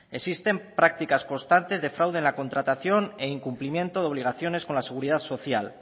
existen prácticas constantes de fraude en la contratación e incumplimiento de obligaciones con la seguridad social